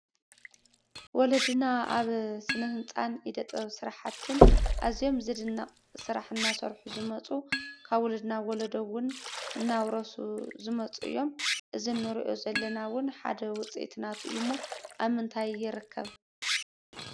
ወለድና ኣብ ስነህንፃን ኢደ-ጥበብን ስራሕትን ኣዝዮም ዝድነቕ ስራሕ እናሰርሑ ዝመፁ ካብ ውሉድ ናብ ወለዶ ውን እናውረሱ ዝመፁ እዮም፡፡ እዚ እንሪኦ ዘለና ውን ሓደ ውፅኢት ናቱ እዩ ሞ ኣብ ምንታይ ይርከብ?